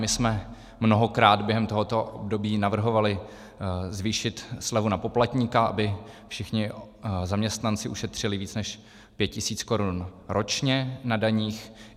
My jsme mnohokrát během tohoto období navrhovali zvýšit slevu na poplatníka, aby všichni zaměstnanci ušetřili víc než 5 tisíc korun ročně na daních.